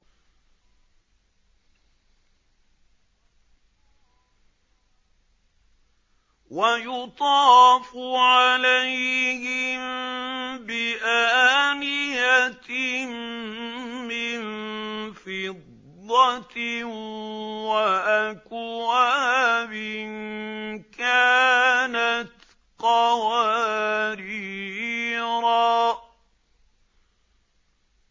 وَيُطَافُ عَلَيْهِم بِآنِيَةٍ مِّن فِضَّةٍ وَأَكْوَابٍ كَانَتْ قَوَارِيرَا